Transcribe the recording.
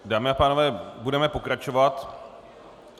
Dámy a pánové, budeme pokračovat.